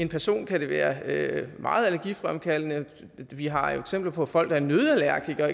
personer kan være meget allergifremkaldende vi har jo eksempler på folk der er nøddeallergikere